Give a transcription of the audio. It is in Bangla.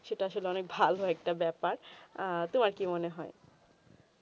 সেটা আসলে অনেক ভালো একটা ব্যাপার আ তো আর কি মনে হয়ে